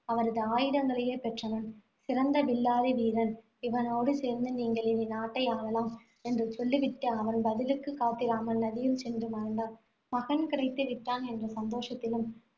அவரது ஆயுதங்களையே பெற்றவன். சிறந்த வில்லாதி வீரன். இவனோடு சேர்ந்து நீங்கள் இனி நாட்டை ஆளலாம், என்று சொல்லிவிட்டு, அவன் பதிலுக்கு காத்திராமல், நதியில் சென்று மறைந்தாள் மகன் கிடைத்து விட்டான் என்ற சந்தோஷத்திலும்,